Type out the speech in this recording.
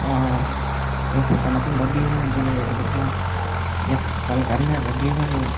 ba eh potanotun do view gani doleh degajai ektal gari aagey view gani.